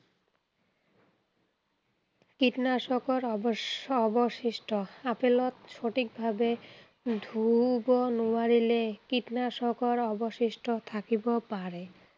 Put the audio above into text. কীটনাশকৰ অৱশ অৱশিষ্ঠ, আপেলত সঠিক ভাৱে ধুব নোৱাৰিলে, কীটনাশকৰ অৱশিষ্ঠ থাকিব পাৰে।